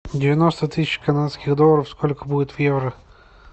девяносто тысяч канадских долларов сколько будет в евро